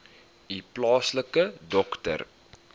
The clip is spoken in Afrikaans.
u plaaslike dokter